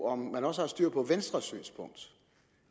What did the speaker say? om man også har styr på venstres synspunkt